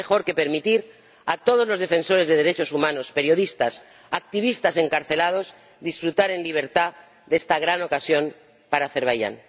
¡Qué mejor que permitir a todos los defensores de derechos humanos, periodistas, activistas encarcelados, disfrutar en libertad de esta gran ocasión para Azerbaiyán!